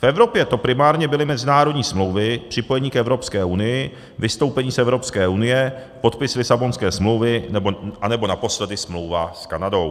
V Evropě to primárně byly mezinárodní smlouvy, připojení k Evropské unii, vystoupení z Evropské unie, podpis Lisabonské smlouvy nebo naposledy smlouva s Kanadou.